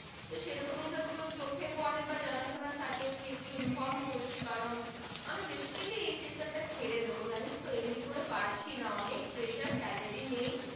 সে রকমি ধর চোখে পরে বা জানা শোনা থাকে তুই একটু Inform করিস করান আমি Baseline এই Sector টা ছেড়ে দিবো জানিস তো এমনি করে পারছি না অনেক Pressure Salary নেই